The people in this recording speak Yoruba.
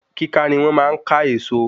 Kíka ni wón máa n ká Èèso